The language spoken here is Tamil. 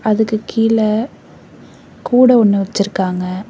அதுக்கு கீழ கூட ஒன்னு வெச்சிருக்காங்க.